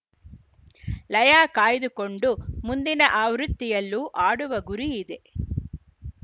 ಲಯ ಕಾಯ್ದುಕೊಂಡು ಮುಂದಿನ ಆವೃತ್ತಿಯಲ್ಲೂ ಆಡುವ ಗುರಿ ಇದೆ